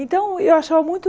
Então, eu achava muito...